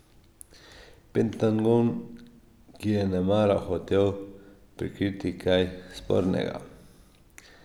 Pentagon, ki je nemara hotel prikriti kaj spornega.